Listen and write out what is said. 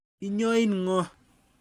Inyoin ng'o?